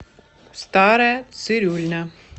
старая цирюльня